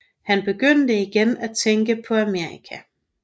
Han begyndte da igen at tænke på Amerika